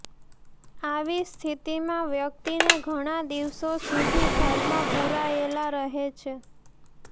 આવી સ્થિતિમાં વ્યક્તિને ઘણા દિવસો સુધી ઘરમાં પુરાયેલા રહે છે